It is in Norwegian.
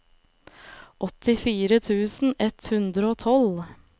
åttifire tusen ett hundre og tolv